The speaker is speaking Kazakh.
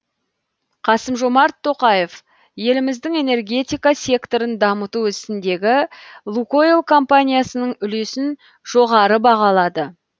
қасым жомарт тоқаев еліміздің энергетика секторын дамыту ісіндегі лукойл компаниясының үлесін жоғары бағалады